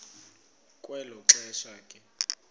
kwelo xesha ke